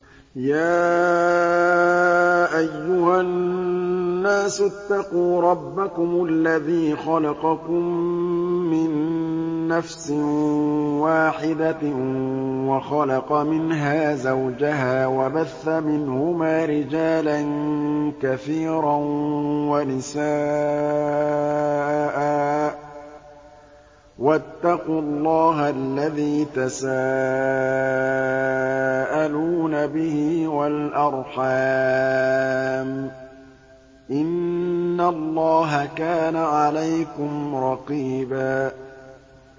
يَا أَيُّهَا النَّاسُ اتَّقُوا رَبَّكُمُ الَّذِي خَلَقَكُم مِّن نَّفْسٍ وَاحِدَةٍ وَخَلَقَ مِنْهَا زَوْجَهَا وَبَثَّ مِنْهُمَا رِجَالًا كَثِيرًا وَنِسَاءً ۚ وَاتَّقُوا اللَّهَ الَّذِي تَسَاءَلُونَ بِهِ وَالْأَرْحَامَ ۚ إِنَّ اللَّهَ كَانَ عَلَيْكُمْ رَقِيبًا